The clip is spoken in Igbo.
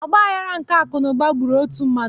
Ọgbaghara nke akụnaụba gburu ọtụtụ mmadụ